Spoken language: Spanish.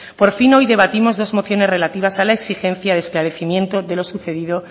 por fin hoy debatimos dos mociones relativas a la exigencia de esclarecimiento de lo sucedido